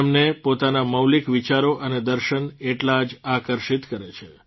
તેમને પોતાના મૌલિક વિચારો અને દર્શન એટલા જ આકર્ષિત કરે છે